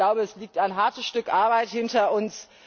Ich glaube, es liegt ein hartes Stück Arbeit hinter uns.